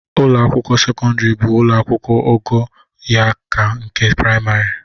Ụlọ akwụkwọ sekọndịrị bụ ụlọ akwụkwụ ogo ya ka nke prịmarị